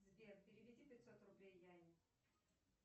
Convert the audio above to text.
сбер переведи пятьсот рублей яне